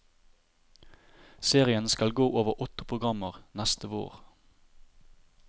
Serien skal gå over åtte programmer neste vår.